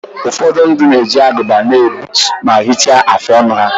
Ụfọdụ ndị na-eji agụba na-egbutu ma hichaa afụ ọnụ ha.